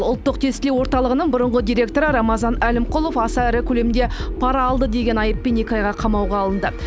ұлттық тестілеу орталығының бұрынғы директоры рамазан әлімқұлов аса ірі көлемде пара алды деген айыппен екі айға қамауға алынды